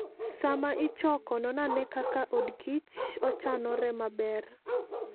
Sama ichoko non ane kaka odkich ochanore maber.